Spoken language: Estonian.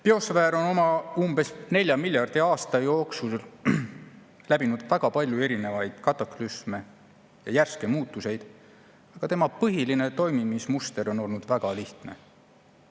Biosfäär on oma olemasolu 4 miljardi aasta jooksul läbinud väga palju erinevaid kataklüsme ja järske muutusi, aga tema põhiline toimimismuster on olnud väga lihtne.